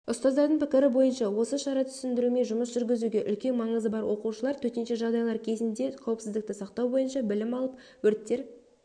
ұстаздардың пікірі бойынша осы шара түсіндіруме жұмыс жүргізуге үлкен маңызы бар оқушылар төтенше жағдайлар кезінде қауіпсіздікті сақтау бойынша білім алып өрттер